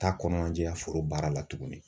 T'a kɔnɔnandiya foro baara la tuguni.